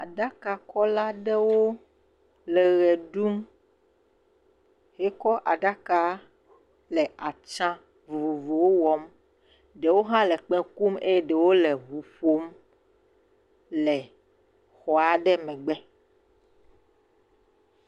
Aɖakakɔla aɖewo le ʋe ɖum, wokɔ aɖaka le atsã vovovowo wɔm, ɖewo hã le kpẽ kum eye ɖewo le eŋu ƒom le xɔ aɖe megbe